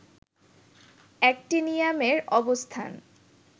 অ্যাক্টিনিয়ামের অবস্থান